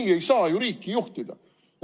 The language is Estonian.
Nii ei saa ju riiki juhtida!